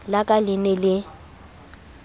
la ka le ne le